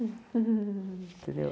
Entendeu?